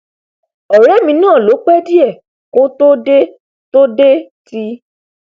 ọrẹ mi náà ló pẹ díẹ kó tó dé tó dé ti